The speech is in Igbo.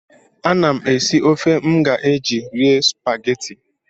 Ana m esi ofe m ga-eji rie spagetị.